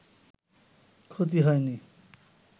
ক্ষতি হয়নি